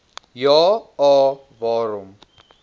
ja a waarom